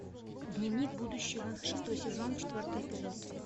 дневник будущего шестой сезон четвертый эпизод